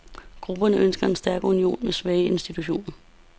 Grupperne ønsker en stærk union med svage institutioner.